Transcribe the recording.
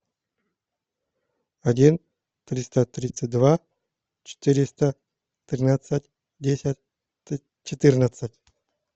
один триста тридцать два четыреста тринадцать десять четырнадцать